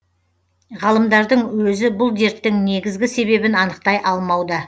ғалымдардың өзі бұл дерттің негізгі себебін анықтай алмауда